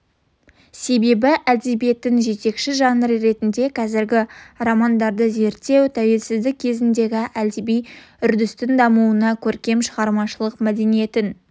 себебі әдебиеттің жетекші жанры ретінде қазіргі романдарды зерттеу тәуелсіздік кезеңіндегі әдеби үрдістің дамуындағы көркем шығармашылық мәдениеттің